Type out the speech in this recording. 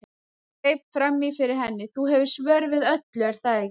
Hann greip fram í fyrir henni: Þú hefur svör við öllu, er það ekki?